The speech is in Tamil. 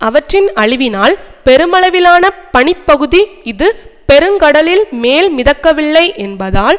அவற்றின் அழிவினால் பெருமளவிலான பனிப்பகுதி இது பெருங்கடலில் மேல் மிதக்கவில்லை என்பதால்